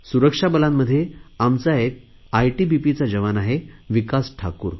सुरक्षा बलांमध्ये आमचा एक आयटीबीपीचा जवान आहे विकास ठाकूर